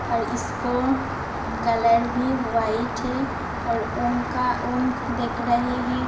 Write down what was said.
और इसका कलर भी वाइट है और ओम का ओम दिख रहे है।